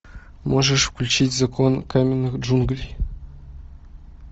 можешь включить закон каменных джунглей